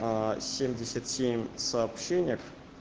семьдесят семь в сообщениях